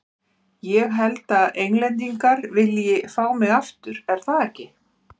Ég held að Englendingar vilji fá mig aftur, er það ekki?